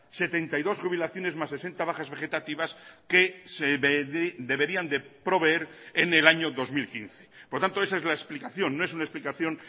setenta y dos jubilaciones más sesenta bajas vegetativas que se deberían de proveer en el año dos mil quince por tanto esa es la explicación no es una explicación